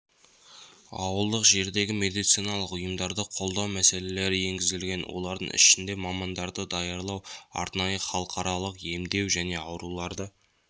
ауылдық жердегі медициналық ұйымдарды қолдау мәселелері енгізілген олардың ішінде мамандарды даярлау арнайы халықаралық емдеу және ауруларды